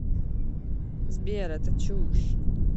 сбер это чушь